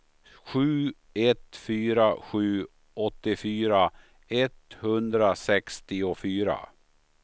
sju ett fyra sju åttiofyra etthundrasextiofyra